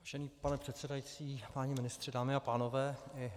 Vážený pane předsedající, páni ministři, dámy a pánové.